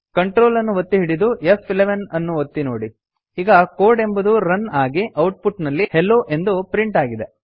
Ctrl ಅನ್ನು ಒತ್ತಿ ಹಿಡಿದು ಫ್11 ಅನ್ನು ಒತ್ತಿ ನೋಡಿ ಈಗ ಕೋಡ್ ಎಂಬುದು ರನ್ ಆಗಿ ಔಟ್ಪುಟ್ ನಲ್ಲಿ ಹೆಲ್ಲೊ ಎಂದು ಪ್ರಿಂಟ್ ಆಗಿದೆ